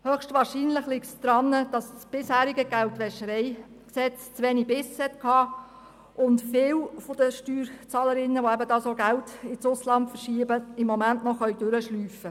Höchstwahrscheinlich liegt es daran, dass das bisherige GwG zu wenig Biss hatte und viele der Steuerzahlerinnen und Steuerzahler, die Geld ins Ausland verschieben, im Moment noch durchschlüpfen können.